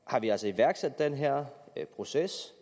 har vi altså iværksat den her proces